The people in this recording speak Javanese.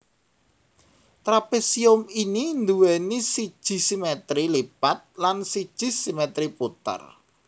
Trapésium ini nduwèni siji simètri lipat lan siji simètri puter